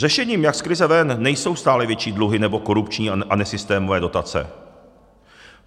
Řešením, jak z krize ven, nejsou stále větší dluhy nebo korupční a nesystémové dotace.